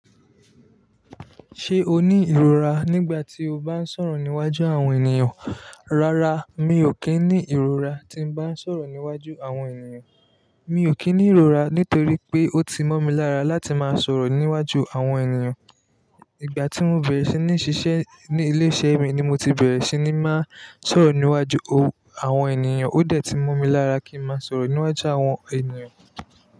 Ṣé o ní ìrora nígbà tí o bá ń sọ̀rọ̀ níwájú àwọn ènìyàn? Rárá, mi ò kí ń ní ìrora tí n bá ń sọ̀rọ̀ níwájú àwọn ènìyàn. Mi ò kí ń ní ìrora nítorí pé ó ti mọ́ mi lára láti máa sọ̀rọ̀ níwájú àwọn ènìyàn. Ìgbà tí mo bẹ̀rẹ̀ sí ní ṣiṣẹ́ ní ilé iṣẹ́ mi ni mo ti bẹ̀rẹ̀ sí ní máa sọ̀rọ̀ níwájú àwọn ènìyàn. Ó dẹ̀ ti mọ́ mi lára kí n máa sọ̀rọ̀ níwájú àwọn ènìyàn.